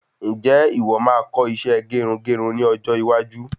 Ǹjẹ́ ìwọ máa kọ́ isẹ́ gerugeru ní ọjọ́ iwájú?